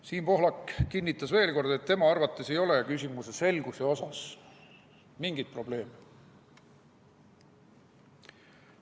Siim Pohlak kinnitas veel kord, et tema arvates ei ole küsimuse selgusega mingeid probleeme.